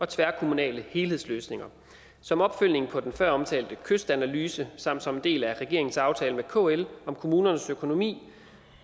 tværkommunale helhedsløsninger som opfølgning på den føromtalte kystanalyse samt som en del af regeringens aftale med kl om kommunernes økonomi